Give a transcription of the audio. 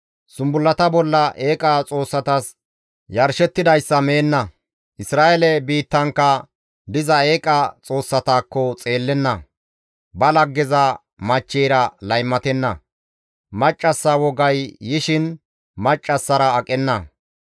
«zumbullata bolla eeqa xoossatas yarshettidayssa izi meenna; Isra7eele biittankka diza eeqa xoossatakko xeellenna; ba laggeza machcheyra laymatenna; maccassa wogay yishin maccassara aqenna.